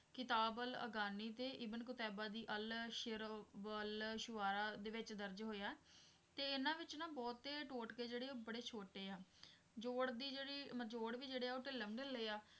ਕਿਤਾਬ ਅਲ ਅਗਾਨੀ ਤੇ Ibn Qutaybah's Al-Shi'r wa-l-Shu'ara' ਦੇ ਵਿੱਚ ਦਰਜ ਹੋਇਆ ਤੇ ਇਹਨਾਂ ਵਿੱਚ ਨਾ ਬਹੁਤੇ ਟੋਟਕੇ ਜਿਹੜੇ ਬੜੇ ਛੋਟੇ ਆ ਜੋੜਦੀ ਜਿਹੜੀ ਨਚੋੜ ਵੀ ਜਿਹੜੇ ਆ ਉਹ ਢਿੱਲਮ ਢਿੱਲੇ ਆ